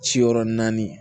Ciyɔrɔ naani